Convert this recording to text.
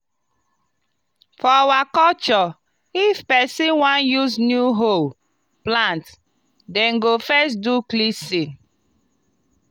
for our culture if person wan use new hoe plant dem go first do cleansing.